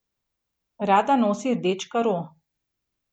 Rada nosi rdeč karo.